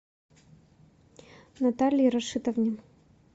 наталье рашитовне